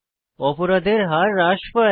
অপরাধের হার হ্রাস পায়